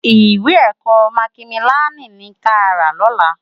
Iwé èkò mákimiláni ni ká rá lòlá